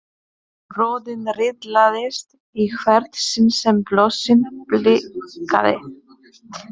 Röðin riðlaðist í hvert sinn sem blossinn blikkaði.